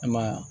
I ma ye wa